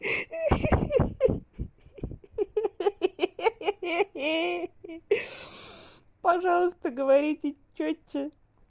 ха-ха-ха пожалуйста говорите чётче